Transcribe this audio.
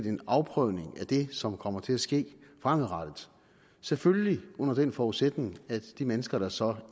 en afprøvning af det som kommer til at ske fremadrettet selvfølgelig under den forudsætning at de mennesker der så